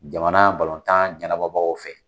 Jamana balontan ɲɛnabɔbagaw fɛ.